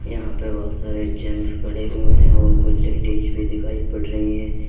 यहां पे बहुत सारे जेंट्स खड़े हुए हैं और कुछ लेडिस भी दिखाई पड़ रही है।